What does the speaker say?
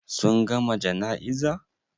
Sun gama jana'iza?